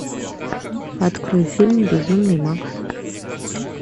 открой фильм безумный макс